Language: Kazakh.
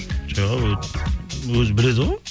жоқ өзі біледі ғой